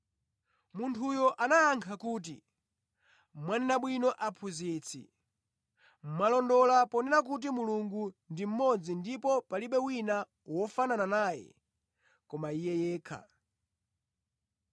Munthuyo anayankha kuti, “Mwanena bwino Aphunzitsi. Mwalondola ponena kuti Mulungu ndi mmodzi ndipo palibe wina wofanana naye koma Iye yekha.